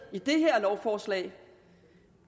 i det her lovforslag